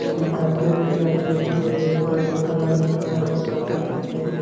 शीशा के रैक लगे हे ओ दे कलर-कलर के कपड़ा हे ।